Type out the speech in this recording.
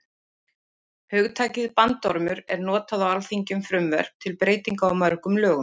Hugtakið bandormur er notað á alþingi um frumvörp til breytinga á mörgum lögum.